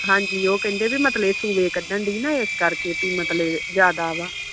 ਉਹ ਕਹਿੰਦੇ ਮਤਬ ਇਹ ਸੂਹੇ ਕਢਣ ਡਈ ਨਾ ਇਸ ਕਰਕੇ ਮਤਲਬ ਤਾ ਜਿਆਦਾ ਆ